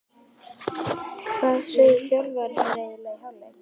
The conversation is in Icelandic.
Hvað sögðu þjálfararnir eiginlega í hálfleik?